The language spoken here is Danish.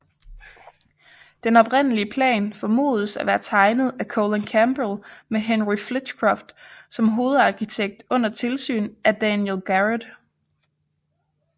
Den oprindelige plan formodes at være tegnet af Colen Campell med Henry Flitcroft som hovedarkitekt under tilsyn af Daniel Garrett